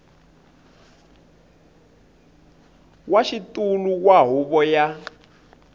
wa xitulu wa huvo ya